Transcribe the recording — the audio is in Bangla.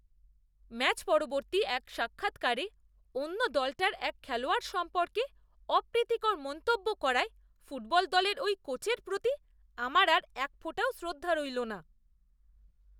ম্যাচ পরবর্তী এক সাক্ষাৎকারে অন্য দলটার এক খেলোয়াড় সম্পর্কে অপ্রীতিকর মন্তব্য করায় ফুটবল দলের ওই কোচের প্রতি আমার আর একফোঁটাও শ্রদ্ধা রইল না।